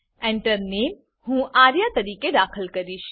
Enter Name હું આર્યા તરીકે દાખલ કરીશ